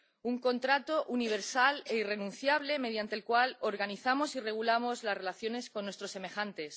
Un contrato universal e irrenunciable mediante el cual organizamos y regulamos las relaciones con nuestros semejantes.